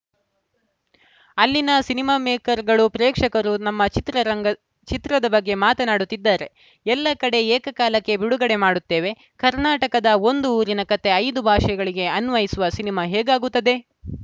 ಅಲ್ಲಿನ ಸಿನಿಮಾ ಮೇಕರ್‌ಗಳು ಪ್ರೇಕ್ಷಕರು ನಮ್ಮ ಚಿತ್ರರಂಗ್ ಚಿತ್ರದ ಬಗ್ಗೆ ಮಾತನಾಡುತ್ತಿದ್ದಾರೆ ಎಲ್ಲಾ ಕಡೆ ಏಕಕಾಲಕ್ಕೆ ಬಿಡುಗಡೆ ಮಾಡುತ್ತೇವೆ ಕರ್ನಾಟಕದ ಒಂದು ಊರಿನ ಕತೆ ಐದು ಭಾಷೆಗಳಿಗೆ ಅನ್ವಯಿಸುವ ಸಿನಿಮಾ ಹೇಗಾಗುತ್ತದೆ